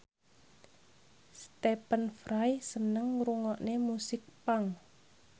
Stephen Fry seneng ngrungokne musik punk